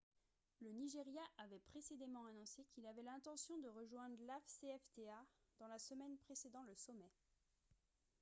le nigeria avait précédemment annoncé qu'il avait l'intention de rejoindre l'afcfta dans la semaine précédant le sommet